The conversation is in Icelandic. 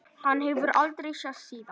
Hann hefur aldrei sést síðan.